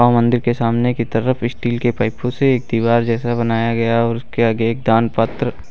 मंदिर के सामने की तरफ स्टील के पाइपों से दीवार जैसा बनाया गया है और उसके आगे एक दान पात्र--